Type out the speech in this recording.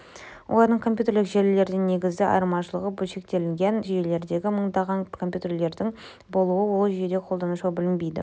олардың компьютерлік желілерден негізгі айырмашылығы бөлшектелген жүйелердегі мыңдаған компьютерлердің болуы ол жүйені қолданушыға білінбейді